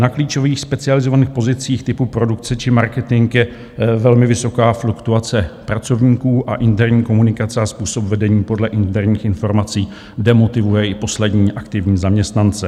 Na klíčových specializovaných pozicích typu produkce či marketing je velmi vysoká fluktuace pracovníků a interní komunikace a způsob vedení podle interních informací demotivuje i poslední aktivní zaměstnance.